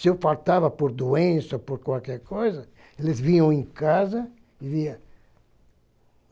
Se eu faltava por doença, por qualquer coisa, eles vinham em casa e via.